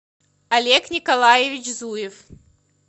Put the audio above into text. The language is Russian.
олег николаевич зуев